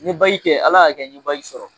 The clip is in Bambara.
N ye kɛ Ala y'a kɛ n ye sɔrɔ